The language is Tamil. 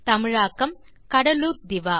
தமிழில் கடலூர் திவா